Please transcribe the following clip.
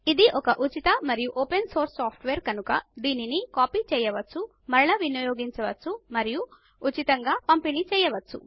ఇది ఒక ఉచిత మరియు ఓపెన్ సోర్స్ సాఫ్ట్వేర్ కనుక దానిని కాపీ చేయవచ్చు మరలా వినియోగించవచ్చు మరియు ఉచితంగా పంపిణీ చేయవచ్చు